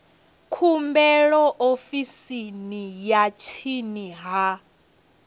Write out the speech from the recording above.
khumbelo ofisini ya tsini ya